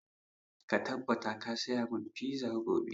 Ka tabbata ka saya mun fiza gobe!